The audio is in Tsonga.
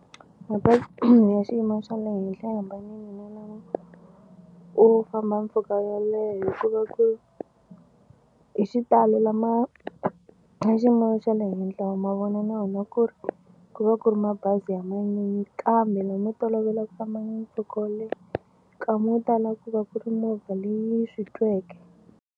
Mabazi ya xiyimo xa le henhla ya hambanile ni lamo u famba mpfhuka yo leha hikuva ku hi xitalo lama ya xiyimo xa le henhla wa ma vona na wona ku ri ku va ku ri mabazi ya manyunyu kambe lomu tolovela ku famba mpfhuka wo leha nkama wo tala ku va ku ri movha leyi swi tweke.